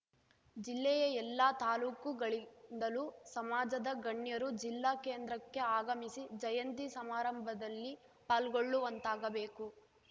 ಜಿಲ್ಲೆಯ ಎಲ್ಲ ತಾಲೂಕು ಗಳಿಂದಲೂ ಸಮಾಜದ ಗಣ್ಯರು ಜಿಲ್ಲಾ ಕೇಂದ್ರಕ್ಕೆ ಆಗಮಿಸಿ ಜಯಂತಿ ಸಮಾರಂಭದಲ್ಲಿ ಪಾಲ್ಗೊಳ್ಳುವಂತಾಗಬೇಕು